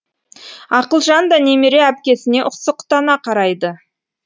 ақылжан да немере әпкесіне ұқсұқтана қарайды